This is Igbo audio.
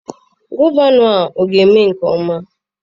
Gọvanọ a ọ ga-eme nke ọma?